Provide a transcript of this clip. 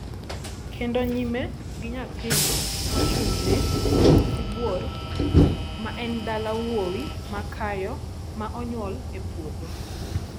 kendo nyime gi nyathino mochung' ne Sibuor (ma en dala wuowi makayo ma onyuol e puodho).